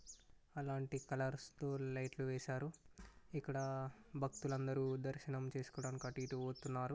అలాంటి కలర్స్ తో లైట్లు వేశార. ఇక్కడ భక్తులందరూ దర్శనం చేసుకోవడానికి అటు ఇటు వస్తున్నారు.